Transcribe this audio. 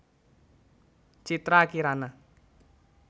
Citra Kirana